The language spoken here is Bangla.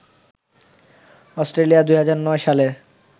অস্ট্রেলিয়া ২০০৯ সালের